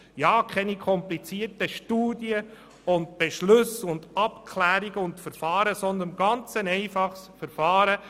Nur keine komplizierten Studien, Beschlüsse, Abklärungen und Verfahren, sondern ein ganz einfaches Verfahren.